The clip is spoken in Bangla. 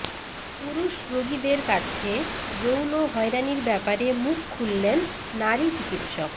পুরুষ রোগীদের কাছে যৌন হয়রানির ব্যাপারে মুখ খুললেন নারী চিকিৎসক